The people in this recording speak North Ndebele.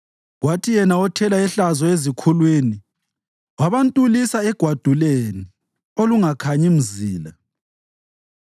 kwathi yena othela ihlazo ezikhulwini wabantulisa egwaduleni olungakhanyi mzila.